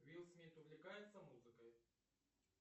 уилл смит увлекается музыкой